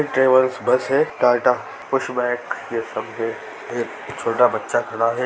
ये travel bus है Tata pushback ये सब है ये छोटा बच्चा खड़ा है।